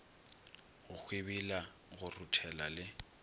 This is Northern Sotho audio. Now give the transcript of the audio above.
go hwibila go ruthela le